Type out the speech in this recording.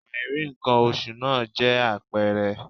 Àìrí ǹkan oṣù náà jẹ́ àpẹẹrẹ